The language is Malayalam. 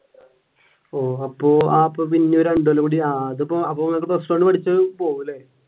ഓഹ് അപ്പൊ പിന്നെ രണ്ടു കൊല്ലം കൂടി plus one പഠിച്ചത് പോവും അല്ല?